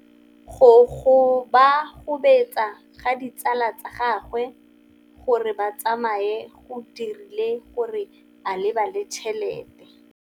Go gobagobetsa ga ditsala tsa gagwe, gore ba tsamaye go dirile gore a lebale tšhelete.